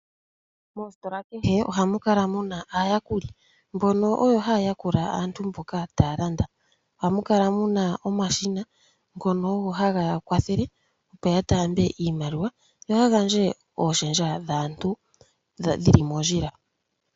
Moositola kehe ohamu kala muna aayakuli mbono oyo haya yakula aantu mboka taya landa. Ohamu kala muna omashina ngono ogo hageya kwathele opo ya taambe iimaliwa, yo ya gandje ooshendja dhaantu dhili mondjila.